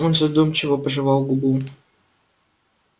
он задумчиво пожевал губу